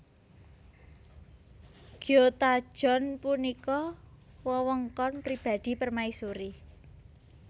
Gyotajeon punika wewengkon pribadi permaisuri